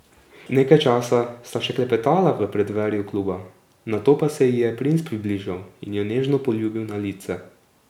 Nekaj časa sta še klepetala v preddverju kluba, nato pa se ji je princ približal in jo nežno poljubil na lice.